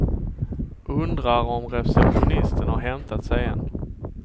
Undrar om receptionisten har hämtat sig än.